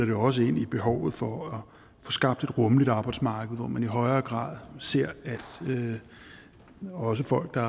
det også ind i behovet for at få skabt et rummeligt arbejdsmarked hvor man i højere grad ser at også folk der